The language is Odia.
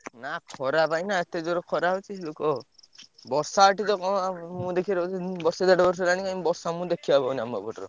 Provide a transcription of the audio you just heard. ନା ଖରା ପାଇଁ ନା ଏତେ ଜୋର ଖରା ହଉଛି ଲୋକ ବର୍ଷା ଏଠି ତ କଣ ଆଉ ମୋ ଦେଖିଆରେ ବୋଧେ ଉଁ ବର୍ଷେ ଦେଢ ବର୍ଷ ହେଲାଣି କାଇଁ ବର୍ଷା ମୁଁ ଦେଖିଆକୁ ପାଉନାଇ ଆମ ଏପଟରେ।